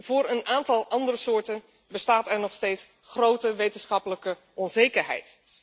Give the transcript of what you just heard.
Voor een aantal andere soorten bestaat er nog steeds grote wetenschappelijke onzekerheid.